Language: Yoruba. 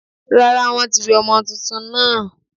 Rárá, won tí wẹ ọmọ túntún náà